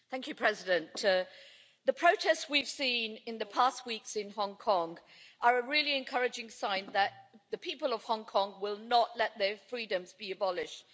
Madam President, the protests we've seen in the past weeks in Hong Kong are a really encouraging sign that the people of Hong Kong will not let their freedoms be abolished.